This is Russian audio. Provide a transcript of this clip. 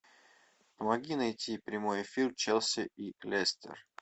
помоги найти прямой эфир челси и лестер